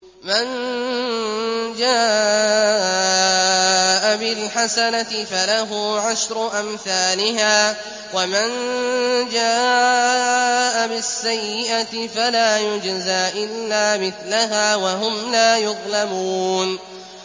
مَن جَاءَ بِالْحَسَنَةِ فَلَهُ عَشْرُ أَمْثَالِهَا ۖ وَمَن جَاءَ بِالسَّيِّئَةِ فَلَا يُجْزَىٰ إِلَّا مِثْلَهَا وَهُمْ لَا يُظْلَمُونَ